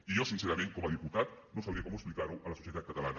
i jo sincerament com a diputat no sabria com explicar ho a la societat catalana